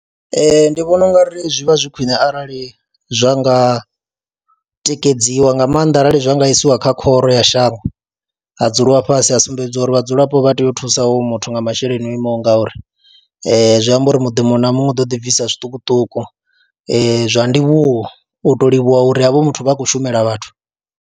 Ee, ndi vhona u nga ri zwi vha zwi khwine arali zwa nga tikedziwa nga maanḓa arali zwa nga isiwa kha khoro ya shango ha dzuliwa fhasi a sumbedziwa uri vhadzulapo vha u thusa hoyo muthu nga masheleni o imaho nga uri, zwi amba uri muḓi muṅwe na muṅwe u ḓo ḓi bvisa zwiṱukuṱuku zwa ndivhuwo u tou livhuwa uri havho muthu vha khou shumela vhathu.